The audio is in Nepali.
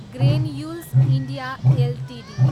granules India Ltd